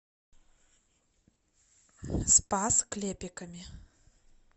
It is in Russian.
спас клепиками